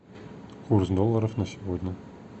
курс долларов на сегодня